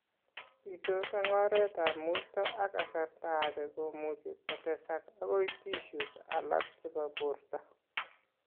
Bitos eng' oretab mutio ak kasarta age komuchi kotesak akoi tissues alak chebo borto